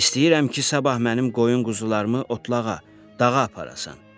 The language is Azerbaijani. İstəyirəm ki, sabah mənim qoyun quzularımı otlağa, dağa aparasan.